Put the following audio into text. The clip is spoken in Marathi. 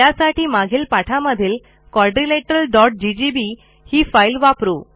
त्यासाठी मागील पाठामधीलquadrilateralggb ही फाईल वापरू